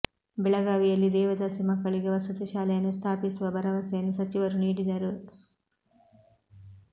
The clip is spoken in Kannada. ಬೆಳಗಾವಿಯಲ್ಲಿ ದೇವದಾಸಿ ಮಕ್ಕಳಿಗೆ ವಸತಿ ಶಾಲೆಯನ್ನು ಸ್ಥಾಪಿಸುವ ಭರವಸೆಯನ್ನು ಸಚಿವರು ನೀಡಿದರು